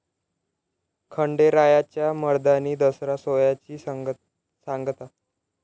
खंडेरायाच्या 'मर्दानी दसरा' सोहळ्याची सांगता